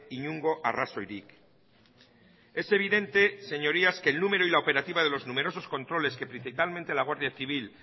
inongo arrazoirik es evidente señorías que el número y la operativa de los numerosos controles que principalmente la guardia civil